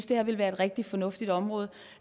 det her ville være et rigtig fornuftigt område